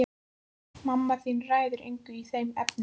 Mamma þín ræður engu í þeim efnum.